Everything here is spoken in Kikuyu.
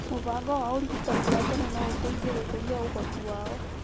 Mĩbango ya ũrigitani wa tene no ĩteithie gũkũria ũhoti wao.